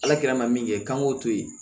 Ala kɛra ma min kɛ k'an k'o to yen